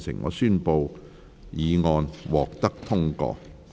我宣布議案獲得通過。